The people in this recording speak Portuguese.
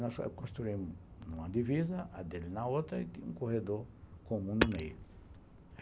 Nós construímos uma divisa, a dele na outra e um corredor com um no meio.